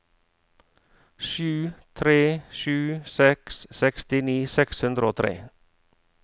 sju tre sju seks sekstini seks hundre og tre